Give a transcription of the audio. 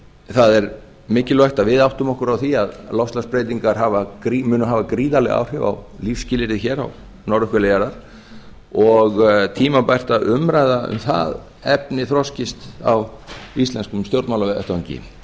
það er mikilvægt að við áttum okkur á því að loftslagsbreytingar munu hafa gríðarleg áhrif á lífsskilyrði hér á norðurhveli jarðar og tímabært að umræða um það efni þroskist á íslenskum stjórnmálavettvangi